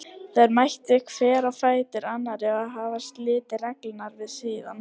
Þær mættu hver á fætur annarri og hafa litið reglulega við síðan.